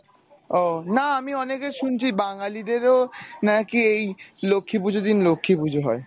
না আমি অনেকের শুনছি বাঙালিদের ও নাকি লক্ষী পূঁজোর দিন লক্ষী পূঁজো হয়।